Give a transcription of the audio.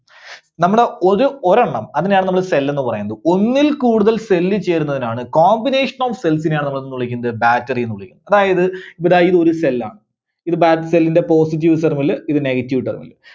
നമ്മള് ഒര് ഒരെണ്ണം അതിനെയാണ് നമ്മള് cell ന്ന് പറയുന്നത്. ഒന്നിൽകൂടുതൽ cell ചേരുന്നതിനെയായാണ്, combination of cells നെയാണ് നമ്മള് എന്തെന്ന് വിളിക്കുന്നത്, Battery ന്ന് വിളിക്കുന്നത്. അതായത് ഇതാ ഇത് ഒരു cell ആണ്. ഇത് battery ന്റെ, positive terminal ഇത് negative terminal.